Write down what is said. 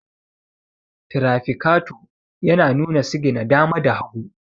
tirafikato yana nuna sigina dama da hagu